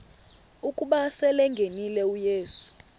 ukuba selengenile uyesu